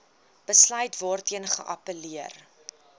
besluit waarteen geappelleer